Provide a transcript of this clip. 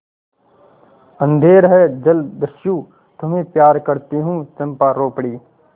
अंधेर है जलदस्यु तुम्हें प्यार करती हूँ चंपा रो पड़ी